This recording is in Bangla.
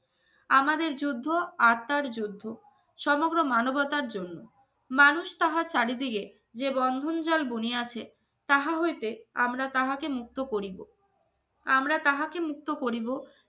আমাদের যুদ্ধ আচার যুদ্ধ সমগ্র মানবতার জন্য মানুষ তাহা চারিদিকে যে বন্ধন জল দুনিয়া আছে তাহা হইতে আমরা তাহাকে মুক্ত করিব। আমরা তাহাকে মুক্ত